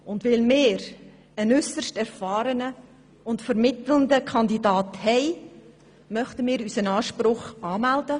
Und weil wir einen äusserst erfahrenen und vermittelnden Kandidaten haben, möchten wir unseren Anspruch anmelden.